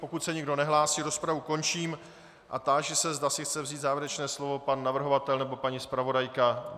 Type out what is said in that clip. Pokud se nikdo nehlásí, rozpravu končím a táži se, zda si chce vzít závěrečné slovo pan navrhovatel nebo paní zpravodajka.